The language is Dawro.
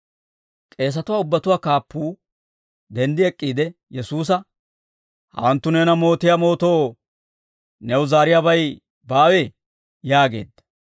K'eesatuwaa ubbatuwaa kaappuu denddi ek'k'iide Yesuusa, «Hawanttu neena mootiyaa mootoo new zaariyaabay baawee?» yaageedda.